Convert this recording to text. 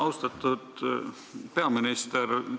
Austatud peaminister!